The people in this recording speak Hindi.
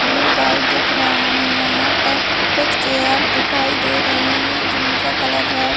ब्लू दिख रहा है यहाँ पर कुछ चेयर दिखाई दे रही हैं जिनका कलर रेड --